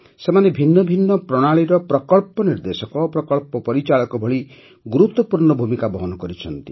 ସେମାନେ ଭିନ୍ନ ଭିନ୍ନ ପ୍ରଣାଳୀର ପ୍ରକଳ୍ପ ନିର୍ଦ୍ଦେଶକ ପ୍ରକଳ୍ପ ପରିଚାଳକ ଭଳି ଗୁରୁତ୍ୱପୂର୍ଣ୍ଣ ଭୂମିକା ବହନ କରିଛନ୍ତି